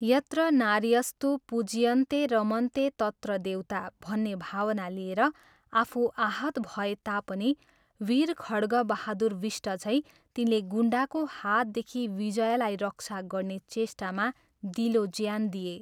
"यत्र नार्यस्तु पूज्यन्ते रमन्ते तत्र देवता " भन्ने भावना लिएर आफू आहत भए तापनि वीर खड्गबहादुर बिष्ट झैं तिनले गुण्डाको हातदेखि विजयालाई रक्षा गर्ने चेष्टामा दिलोज्यान दिए।